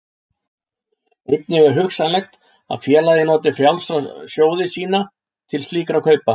Einnig er hugsanlegt að félagið noti frjálsa sjóði sína til slíkra kaupa.